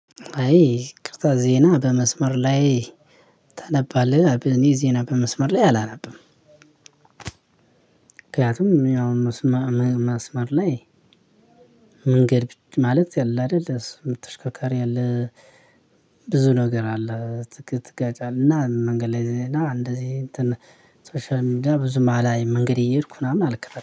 አይ ይቅርታ ዜና በመስመር ላይ ታነባለህ እኔ ዜና በመስመር ላይ አላነብም። ምክንያቱም ያው መስመር ላይ መንገድ ማለት ያለ አይደለም ተሽከርካሪ አለ። ብዙ ነገር አለ ትጋጫለህ እና መንገድ ላይ እንደዚህ እንትን ሶሻል ሚድያ ብዙም አላይ። መንገድ እየሄድኩ ምናምን አልከታተልም